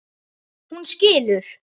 Hún skilur.